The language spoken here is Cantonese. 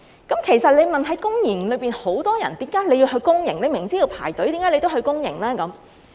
有人會問，公營系統有很多病人，他們明知要排隊，為何要去公營呢？